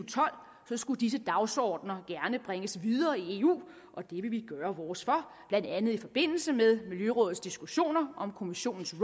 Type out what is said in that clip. tolv skulle disse dagsordener gerne bringes videre i eu og det vil vi gøre vores for blandt andet i forbindelse med miljørådets diskussioner om kommissionens